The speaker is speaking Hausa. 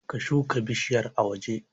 Ka shuka bishiyar a waje